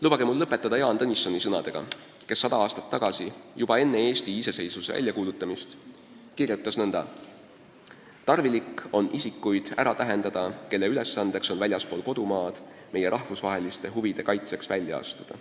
Lubage mul lõpetada Jaan Tõnissoni sõnadega, kes 100 aastat tagasi, juba enne Eesti iseseisvuse väljakuulutamist, kirjutas nõnda: "Tarvilik on isikuid ära tähendada, kelle ülesandeks on väljaspool kodumaad meie rahvusliste huvide kaitseks välja astuda.